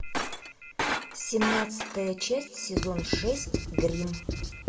семнадцатая часть сезон шесть гримм